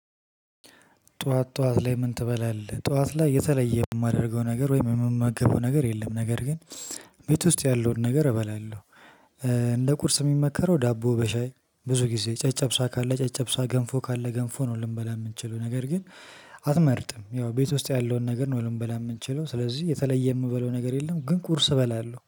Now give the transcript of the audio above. ጠዋት ጠዋት ላይ ምን ትበላለህ? ጠዋት ላይ የተለየ የማደርገው ነገር ወይም የምመገበው ነገር የለም። ነገር ግን ቤት ውስጥ ያለውን ነገር እበላለሁ። እንደ ቁርስ የሚመከረው ዳቦ በሻይ ብዙ ጊዜ ጨጨብሳ ካለ ጨጨብሳ ገንፎ ካለ ገንፎ ነው ልንበላ የምንችለው። ነገር ግን አትመርጥም ያው ቤት ውስጥ ያለውን ነገር ነው ልንበላ የምንችለው ስለዚህ የተለየ የምበለው ነገር የለም ግን ቁርስ እበላለሁ።